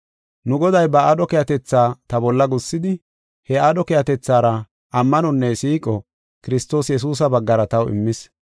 Nu Goday ba aadho keehatetha ta bolla gussidi, he aadho keehatethaara ammanonne siiqo Kiristoos Yesuusa baggara taw immis.